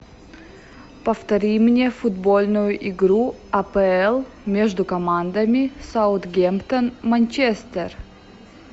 повтори мне футбольную игру апл между командами саутгемптон манчестер